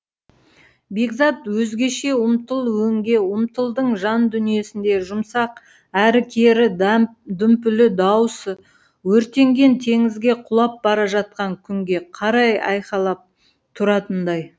бекзат өзгеше ұмтыл өңге ұмтылдың жандүниесіндегі жұмсақ әрі кері дүмпулі дауысы өртенген теңізге құлап бара жатқан күнге қарай айқайлап тұратындай